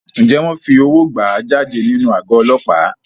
Ǹjẹ́ wọn fi owó gbà á jáde nínú àgọ́ Ọlọ́pàá?